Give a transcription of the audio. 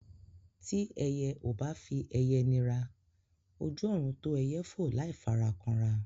Tí ẹyẹ ò bá fi ẹyẹ nira, ojú ọ̀run tó ẹyẹ fò láì fara kanra.